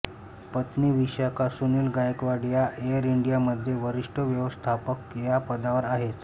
पत्नी विशाखा सुनील गायकवाड या Air India मध्ये वरिष्ठ व्यवस्थापक या पदावर आहेत